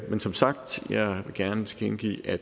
men som sagt vil jeg gerne tilkendegive at